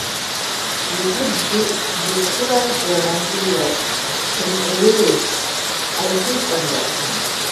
you fit describe romantic love in a way wey i fit understand?